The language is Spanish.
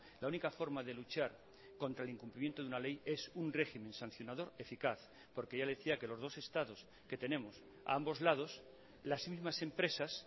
la única forma de luchar contra el incumplimiento de una ley es un régimen sancionador eficaz porque ya le decía que los dos estados que tenemos a ambos lados las mismas empresas